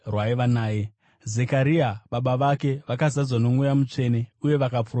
Zekaria baba vake vakazadzwa noMweya Mutsvene uye vakaprofita vachiti: